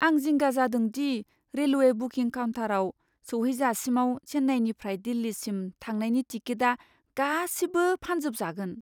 आं जिंगा जादों दि रेलवे बुकिं काउन्टाराव सौहैजासिमाव चेन्नाईनिफ्राय दिल्लीसिम थांनायनि टिकेटआ गासिबो फानजोबजागोन।